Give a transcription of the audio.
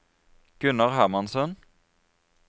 Gunnar Hermansen